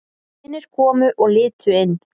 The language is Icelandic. Vinir komu og litu inn.